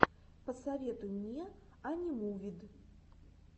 посоветуй мне анимувид